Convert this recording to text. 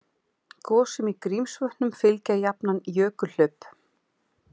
Gosum í Grímsvötnum fylgja jafnan jökulhlaup